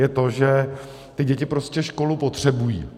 Je to to, že děti prostě školu potřebují.